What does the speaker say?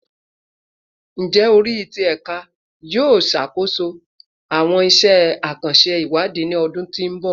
Njẹ ori ti Ẹka yoo ṣakoso awọn iṣẹ akanṣe iwadi ni ọdun to nbọ?